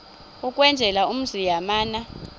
ukwenzela umzi yamana